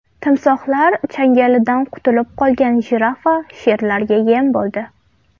Timsohlar changalidan qutulib qolgan jirafa sherlarga yem bo‘ldi.